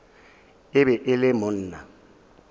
e be e le monna